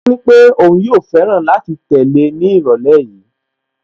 Ó nípé òun yóò fẹ́ràn láti tẹ̀lé ní ìrọ̀lẹ́ yìí